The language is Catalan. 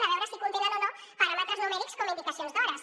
a veure si contenen o no paràmetres numèrics com indicacions d’hores